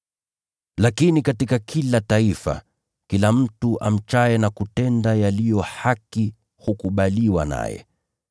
Lakini katika kila taifa, kila mtu amchaye na kutenda yaliyo haki hukubaliwa naye.